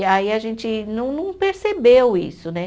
E aí a gente não não percebeu isso, né?